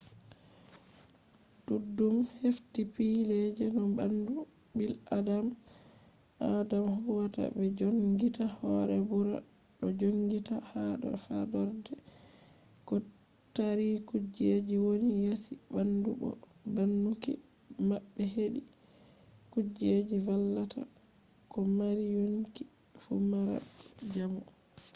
duddum hefti pille je no bandu bil'adama huwata be joongita hoore burna do jonngita ha do faadorde ko tari kujejji woni yasi bandu bo baanuki mabbe hedi kujejji vallata ko mari yonki fu mara jamu